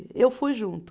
Eu fui junto.